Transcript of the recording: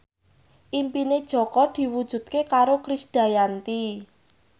impine Jaka diwujudke karo Krisdayanti